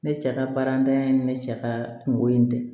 Ne cɛ ka baaratanya in ni ne cɛ ka kungo in tɛ